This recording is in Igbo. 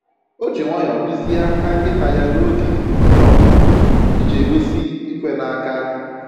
O ji nwayọ duzie aka nkịta ya n'oge ihe ọmụmụ iji egosi "ikwe n'aka"